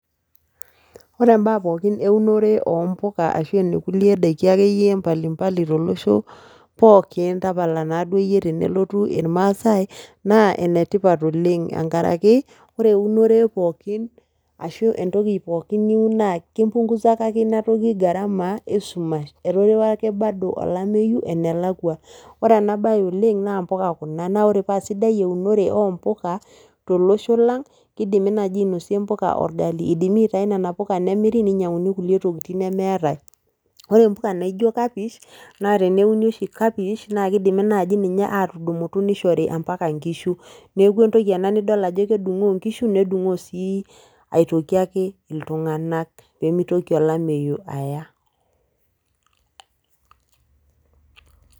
Ore mbaa kumok ewunore oo mbuka ashu kulie daiki mbalimbali tolosho pookin tapala naa eyie tenelotu irmaasai naa enetipat oleng tenkaraki ore ewunore pookin ashu entoki pookin niun naa kimpunguzaka ena toki gharama wee sumash eterewa ake olamei Bado enelakua ore ena mbae oleng naa mbuka Kuna naa ore paa sidai ewunore oo mbuka tolosho lang naa kidimi ainosie nea puka orgali ashu edimi aitayu nena puka nemiri nainyiang'uni kulie tokitin nemeetae ore mbuka naijio cabbage naa teneuni oshi cabbage naa kidimi naaji atudumu nishorii mbaka enkishu neeku entoki nidol Ajo kedungoo enkishu nedungoo aitoki ake iltung'ana pee mitoki olameyu Aya